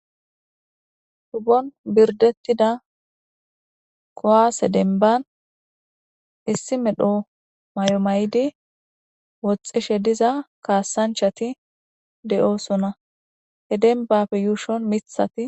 hubbon birdettida kowaase denban issi medho mayomaydi woxxishe diza kaasanchati de7oosona he denbappe yuushon mithati